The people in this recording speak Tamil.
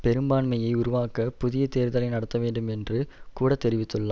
பெரும்பான்மையை உருவாக்க புதிய தேர்தலை நடத்தவேண்டும் என்றும் கூட தெரிவித்துள்ளார்